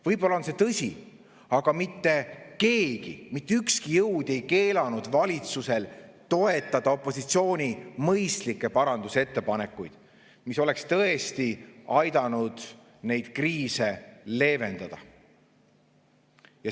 Võib-olla on see tõsi, aga mitte keegi, mitte ükski jõud ei keelanud valitsusel toetada opositsiooni mõistlikke parandusettepanekuid, mis oleks tõesti aidanud neid kriise leevendada.